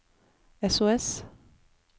sos